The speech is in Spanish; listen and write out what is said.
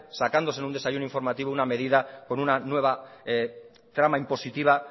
sacándose en un desayuno informativo una medida con una nueva trama impositiva